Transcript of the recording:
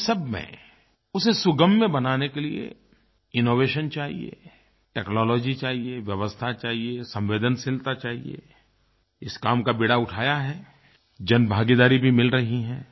इन सब में उसे सुगम्य बनाने के लिए इनोवेशन चाहिए टेक्नोलॉजी चाहिए व्यवस्था चाहिए संवेदनशीलता चाहिएI इस काम का बीड़ा उठाया हैआई जनभागीदारी भी मिल रहीं है